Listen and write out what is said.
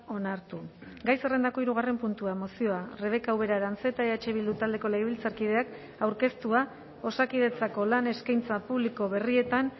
onartu gai zerrendako hirugarren puntua mozioa rebeka ubera aranzeta eh bildu taldeko legebiltzarkideak aurkeztua osakidetzako lan eskaintza publiko berrietan